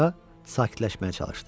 Qoca sakitləşməyə çalışdı.